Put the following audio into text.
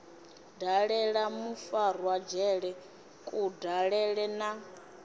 dalela mufarwa dzhele kudalele na